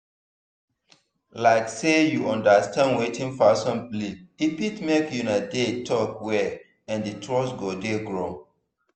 like say you understand wetin person believe e fit make una dey talk well and trust go dey grow.